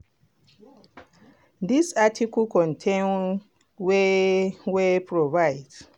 dis article contain con ten t wey wey provide.